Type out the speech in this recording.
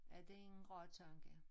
Ja det ingen rar tanke